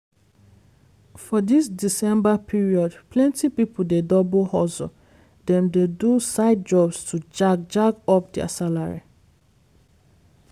for dis december period plenty pipo dey double hustle dem dey do side jobs to jack jack up their salary.